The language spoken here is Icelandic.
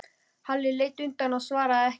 Halli leit undan og svaraði ekki.